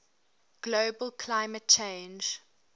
global climate change